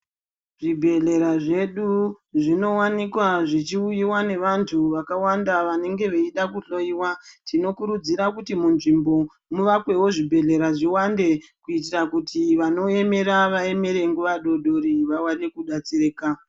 Zvibhedhlera zvedu zvinowanikwa zvichiuyiwa nevantu vakawanda vanenge veide kuhloyiwa. Tinokurudzira kuti munzvimbo muvakwewo zvibhedhlera zviwande kuitira kuti vanoemera vaemere nguwa doodori vaone kudetsereka.